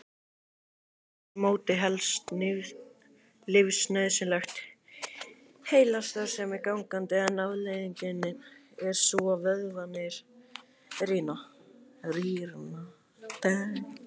Með þessu móti helst lífsnauðsynleg heilastarfsemi gangandi en afleiðingin er sú að vöðvarnir rýrna.